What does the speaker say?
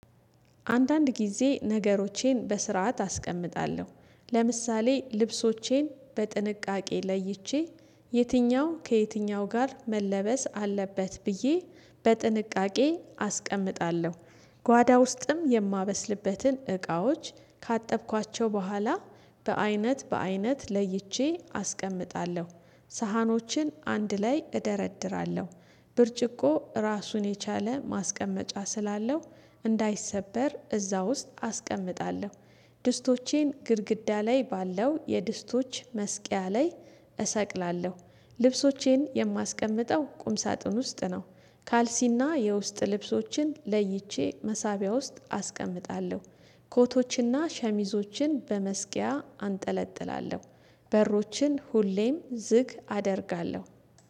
አንዳንድ ጊዜ ነገሮቼን በስርዓት አስቀምጣለሁ ለምሳሌ ልብሶቼን በጥንቃቄ ለይቼ የትኛው ከየትኛው ጋር መለበስ አለበት ብዬ በጥንቃቄ አስቀምጣለሁ። ጓዳ ውስጥም የማበስልበትን እቃዎች ካጠብኳቸው በኋላ በአይነት በአይነት ለይቼ አስቀምጣለሁ። ሳህኖችን አንድ ላይ እደረድራለሁ። ብርጭቆ ራሱን የቻለ ማስቀመጫ ስላለው እንዳይሰበር እዛ ውስጥ አስቀምጣለሁ። ድስቶቼን ግድግዳ ላይ ባለው የድስቶች መስቂያ ላይ እሰቅላለሁ። ልብሶቼን የማስቀምጠው ቁም ሳጥን ውስጥ ነው። ካልሲና የውስጥ ልብሶችን ለይቼ መሳቢያ ውስጥ አስቀምጣለሁ። ኮቶችና ሸሚዞችን በመስቂያ አንጠለጥላለሁ። በሮችን ሁሌም ዝቅ አደርጋለሁ።